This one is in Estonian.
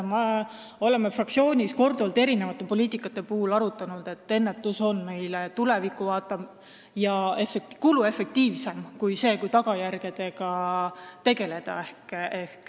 Me oleme fraktsioonis korduvalt eri poliitikate puhul arutanud, et ennetus on tulevikku vaatavam ja kuluefektiivsem kui tagajärgedega tegelemine.